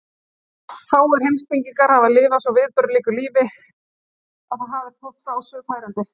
Fáir heimspekingar hafa lifað svo viðburðaríku lífi að það hafi þótt í frásögur færandi.